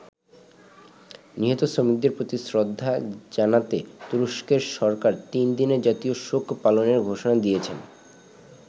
নিহত শ্রমিকদের প্রতি শ্রদ্ধা জানাতে তুরস্কের সরকার তিন দিনের জাতীয় শোক পালনের ঘোষণা দিয়েছে।